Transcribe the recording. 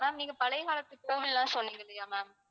ma'am நீங்கப் பழைய காலத்து கோவிலெல்லாம் சொன்னீங்க இல்லையா ma'am